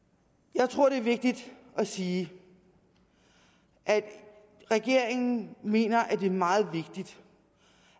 jeg tror det er vigtigt at sige at regeringen mener det er meget vigtigt